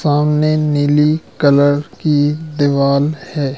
सामने नीली कलर की दीवाल है।